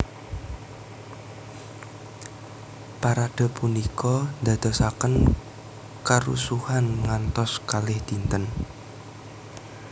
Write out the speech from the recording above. Parade punika ndadosaken karusuhan ngantos kalih dinten